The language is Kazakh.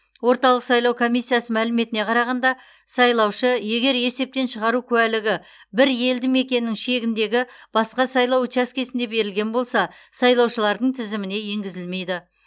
орталық сайлау комиссиясы мәліметіне қарағанда сайлаушы егер есептен шығару куәлігі бір елді мекеннің шегіндегі басқа сайлау учаскесінде берілген болса сайлаушылардың тізіміне енгізілмейді